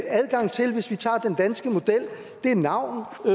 adgang til hvis vi tager den danske model er navn